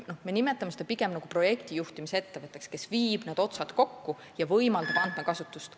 Me nimetame seda pigem projektijuhtimise ettevõtteks, kes viib otsad kokku ja võimaldab andmekasutust.